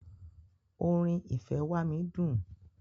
Orin "ìfẹ́ wá mí" dùn.